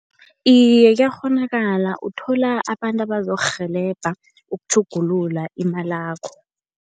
Iye, kuyakghonakala. Uthola abantu abazokurhelebha ukutjhugulula imalakho.